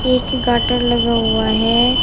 एक गाटर लगा हुआ है।